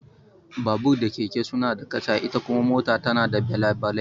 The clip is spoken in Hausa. Babur da keke suna da kaca, ita kuma mota tana da belabalai.